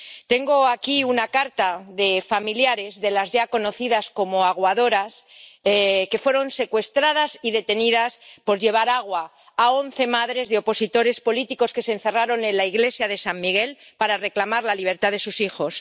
Tengo aquí una carta de familiares de las ya conocidas como aguadoras, que fueron secuestradas y detenidas por llevar agua a once madres de opositores políticos que se encerraron en la iglesia de San Miguel para reclamar la libertad de sus hijos.